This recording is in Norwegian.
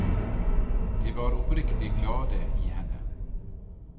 De var oppriktig glade i henne.